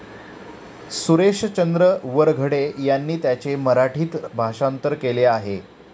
सुरेशचंद्र वरघडे यांनी त्याचे मराठीत भाषांतर केले आहे.